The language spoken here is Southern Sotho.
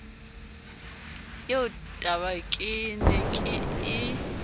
eo tabake ne ke e